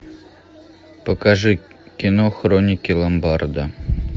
покажи кино хроники ломбарда